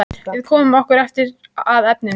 Við komum okkur ekki að efninu.